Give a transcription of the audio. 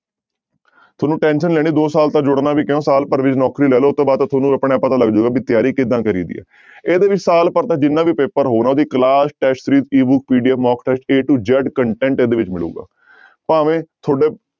ਤੁਹਾਨੂੰ tension ਨੀ ਲੈਣੀ ਦੋ ਸਾਲ ਤੱਕ ਜੁੜਨਾ ਵੀ ਕਿਉਂ ਸਾਲ ਭਰ ਵਿੱਚ ਨੌਕਰੀ ਲੈ ਲਓ, ਉਹ ਤੋਂ ਬਾਅਦ ਤਾਂ ਤੁਹਾਨੂੰ ਆਪ ਪਤਾ ਲੱਗ ਜਾਏਗਾ ਵੀ ਤਿਆਰੀ ਕਿੱਦਾਂ ਕਰੀਦੀ ਹੈ ਇਹਦੇ ਵਿੱਚ ਸਾਲ ਭਰ ਦਾ ਜਿੰਨਾ ਵੀ ਪੇਪਰ ਹੋਣਾ ਉਹਦੀ class test PDF mock test a to z content ਇਹਦੇ ਵਿੱਚ ਮਿਲੇਗਾ ਭਾਵੇਂ ਤੁਹਾਡੇ